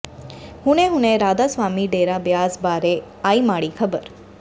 ਹੁਣੇ ਹੁਣੇ ਰਾਧਾ ਸਵਾਮੀ ਡੇਰਾ ਬਿਆਸ ਬਾਰੇ ਆਈ ਮਾੜੀ ਖਬਰ